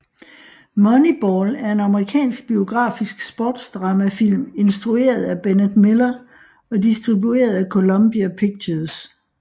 Moneyball er en amerikansk biografisk sportsdramafilm instrueret af Bennett Miller og distribueret af Columbia Pictures